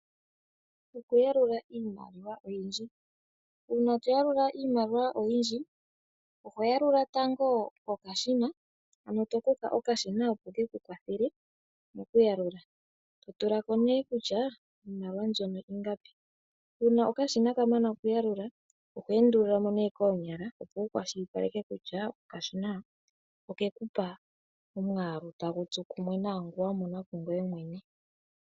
Okuyalula iimaliwa oyindji, una toyaluka iimaliwa oyindji ohoyalula tango kokashina ano tokutha okashina opo keku kwathele mokuyalula, totulamo ne kutya iimaliwa mbyono ingapi, una okashina kamana okuyalula ohwendululamo ne konyala opo wukwashilipaleke kutya okashina okekupa omwalu tangutsu kumwe nangu wamona kungwey mwene.